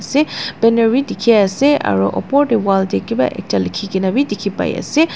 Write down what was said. se banner b diki ase aro upor de wall de kiba ekta liki kina b diki pai ase.